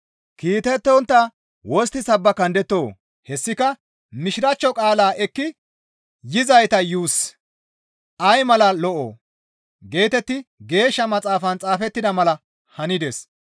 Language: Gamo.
Kiitettontta wostti sabbakandettoo? Hessika, «Mishiraachcho qaala ekki yizayta yuussi ay mala lo7oo!» geetetti Geeshsha Maxaafan xaafettida mala hanides.